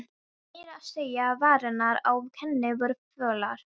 Meira að segja varirnar á henni voru fölar.